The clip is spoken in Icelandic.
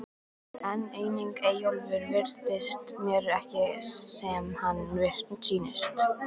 En einnig Eyjólfur virðist mér ekki sem hann sýnist.